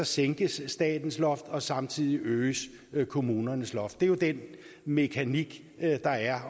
sænkes statens loft og samtidig øges kommunernes loft det er den mekanik der er